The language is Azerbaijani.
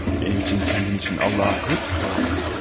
Mənim üçün, özün üçün Allaha həmişə dua et, olarmı?